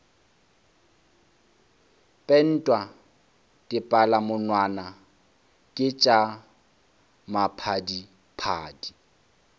pentwa dipalamonwana ke tša maphadiphadi